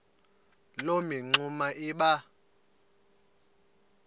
loo mingxuma iba